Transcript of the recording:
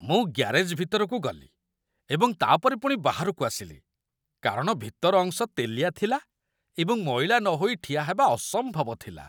ମୁଁ ଗ୍ୟାରେଜ୍‌ ଭିତରକୁ ଗଲି ଏବଂ ତା'ପରେ ପୁଣି ବାହାରକୁ ଆସିଲି କାରଣ ଭିତର ଅଂଶ ତେଲିଆ ଥିଲା ଏବଂ ମଇଳା ନହୋଇ ଠିଆ ହେବା ଅସମ୍ଭବ ଥିଲା